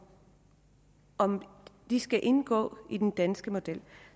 om de skal indgå i den danske model